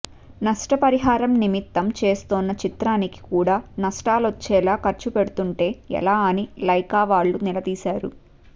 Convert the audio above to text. నష్ట పరిహారం నిమిత్తం చేస్తోన్న చిత్రానికి కూడా నష్టాలొచ్చేలా ఖర్చు పెడుతుంటే ఎలా అని లైకా వాళ్లు నిలదీసారు